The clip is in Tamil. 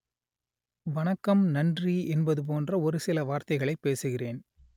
வணக்கம் நன்றி என்பது போன்ற ஒரு சில வார்த்தைகளை பேசுகிறேன்